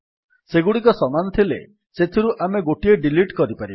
ସେଗୁଡିକ ସମାନ ଥିଲେ ସେଥିରୁ ଆମେ ଗୋଟିଏ ଡିଲିଟ୍ କରିପାରିବା